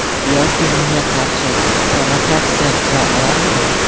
Yoki unga qarshi provokatsiya qila olarmidim?